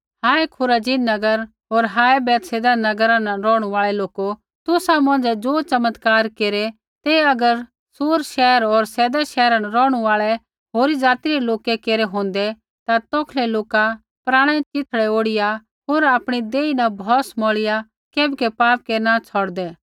हाय Chorazin नगर होर हाय बैतसैदा नगरा न रौहणु आल़ै लोको तुसा मौंझ़ै ज़ो चमत्कार केरै ते अगर सूर शैहर होर सैदा शैहरा न रौहणु आल़ै होरी ज़ाति रै लोकै केरै होंदै ता तौखलै लोका पराणै च़िथड़ै ओढ़िया होर आपणै देही न भौस स्वाह मौईआ केबकै पाप केरना छ़ौड़दै